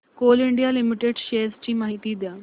Coal India limited shares ची माहिती द्या